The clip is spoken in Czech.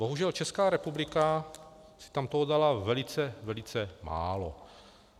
Bohužel Česká republika si toho tam dala velice, velice málo.